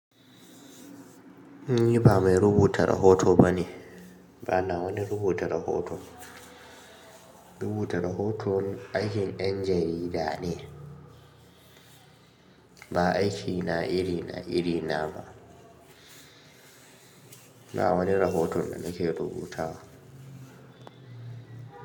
Ni ba mai rubuta rahoto ba ne, ba na wani rubuta rahoto. Rubuta rahoto aikin yan jarida ne, ba aikina iri na iri na ba. Ba wani rahoto da nake rubuta ba.